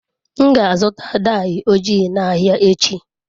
M ga-azụta daị ojii n'ahịa echi.